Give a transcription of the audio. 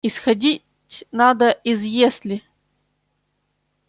исходить надо из если